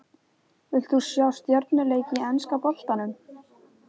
Vilt þú sjá stjörnuleik í enska boltanum?